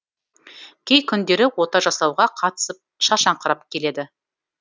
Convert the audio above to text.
кей күндері ота жасауға қатысып шаршаңқырап келеді